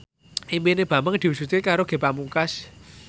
impine Bambang diwujudke karo Ge Pamungkas